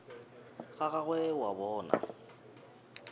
ga gagwe o a bona